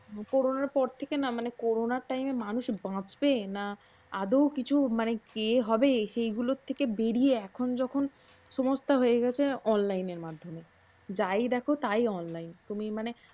করনার পর থেকে মানে না করোনার time এ মানুষ বাচবে না আদৌ কিছু কি হবে সেইগুলর থেকে বেড়িয়ে এখন যখন সমস্ত হয়ে গেছে অনলাইনের মাধ্যমে। যাই দেখো তাই অনলাইন। তুমি মানে